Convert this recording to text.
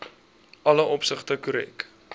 alle opsigte korrek